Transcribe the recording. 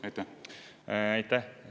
Aitäh!